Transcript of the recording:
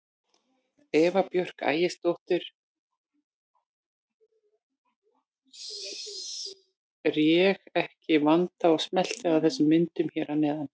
Eva Björk Ægisdóttir lét sig ekki vanta og smellti af þessum myndum hér að neðan.